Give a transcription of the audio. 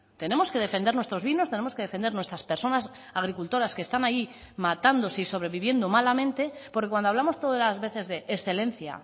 tenemos que defender nuestros vinos tenemos que defender nuestras personas agricultoras que están ahí matándose y sobreviviendo malamente porque cuando hablamos todas las veces de excelencia